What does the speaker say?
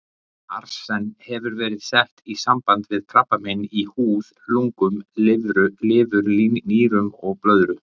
Arsen hefur verið sett í samband við krabbamein í húð, lungum, lifur, nýrum og blöðru.